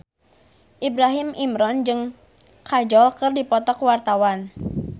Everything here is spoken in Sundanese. Ibrahim Imran jeung Kajol keur dipoto ku wartawan